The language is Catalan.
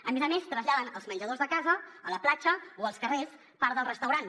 a més a més traslladen als menjadors de casa a la platja o als carrers part del restaurant